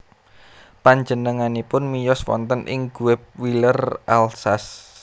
Penjenenganipun miyos wonten ing Guebwiller Alsace